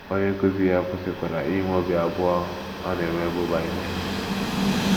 Onye nkụzi ya kwụsịkwara inwe obi abụọ ọ na - enwebụ banyere Ha.